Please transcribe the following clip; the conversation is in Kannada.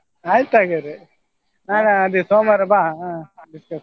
ಆಯ್ತ್ ಹಾಗಾದ್ರೆ ನಾನ್ ಅದೇ ಸೋಮವಾರ ಬಾ .